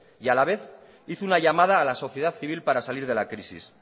y a la vez hizo una llamada a la sociedad civil para salir de la crisis